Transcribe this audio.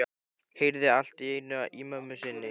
Heyrði allt í einu í mömmu sinni.